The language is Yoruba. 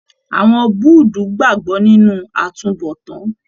Àwọn Búudú gbagbọ nínú àtúnbọ̀tán.